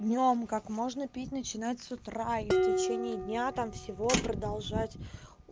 днём как можно пить начинать с утра и в течение дня там всего продолжать